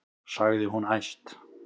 sagði hún æst.